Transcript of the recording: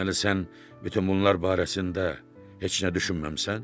Deməli, sən bütün bunlar barəsində heç nə düşünməmisən?